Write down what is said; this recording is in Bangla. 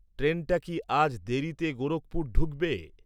ট্রেনটা কি আজ দেরীতে গোরখপুর ঢুকবে